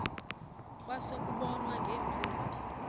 kwase kubonwa ngeentsimbi